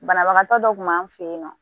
Banabagatɔ dɔ kun b'an fɛ yen nɔ